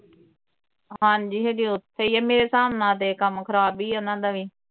ਹਾਂਜੀ ਹਜੇ ਉਥੇ ਈ ਆ ਮੇਰੇ ਹਿਸਾਬ ਨਾਲ ਤੇ ਕੰਮ ਖਰਾਬ ਈ ਆ ਉਨ੍ਹਾਂ ਦਾ ਵੀ